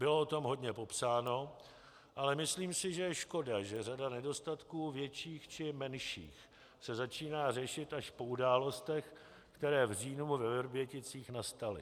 Bylo o tom hodně popsáno, ale myslím si, že je škoda, že řada nedostatků větších či menších se začíná řešit až po událostech, které v říjnu ve Vrběticích nastaly.